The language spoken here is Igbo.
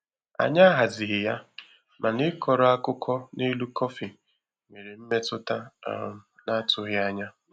Anyị ahazighị ya, mana ịkọrọ akụkọ n'elu kọfị nwere mmetụta um na-atụghị anya.